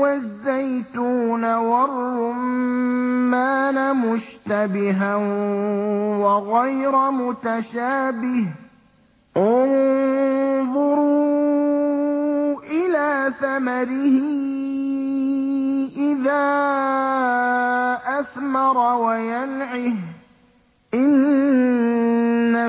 وَالزَّيْتُونَ وَالرُّمَّانَ مُشْتَبِهًا وَغَيْرَ مُتَشَابِهٍ ۗ انظُرُوا إِلَىٰ ثَمَرِهِ إِذَا أَثْمَرَ وَيَنْعِهِ ۚ إِنَّ